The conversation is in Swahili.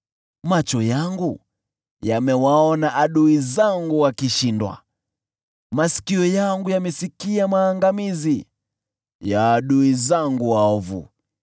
Macho yangu yamewaona adui zangu wakishindwa, masikio yangu yamesikia maangamizi ya adui zangu waovu.